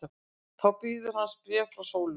Þá bíður hans bréf frá Sólu.